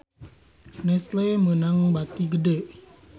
Nestle meunang bati gede